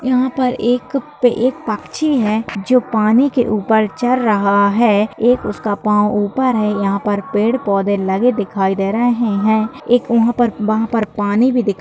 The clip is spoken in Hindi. यहाँ पे एकएक पक्क्षी हैं जो पानी के ऊपर चर रहा हैं एक उसका पाव ऊपर हैं यहाँ पे पेड़ पौधे लगे दिखाई दे रहे हैं एक वहां पर वहां पर पानी भी दिखाई